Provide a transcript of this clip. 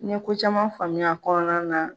N ɲe ko caman faamuya kɔnɔna na